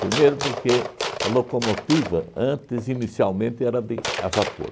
Primeiro porque a locomotiva antes, inicialmente, era de a vapor.